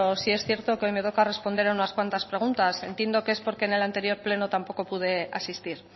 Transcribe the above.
sí es cierto que hoy me toca responder a unas cuantas preguntas entiendo que es porque en el anterior pleno tampoco pude asistir